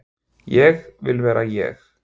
Ég vil vera ég.